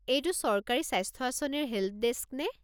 এইটো চৰকাৰী স্বাস্থ্য আঁচনিৰ হে'ল্পডেস্ক নে?